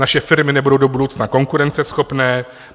Naše firmy nebudou do budoucna konkurenceschopné.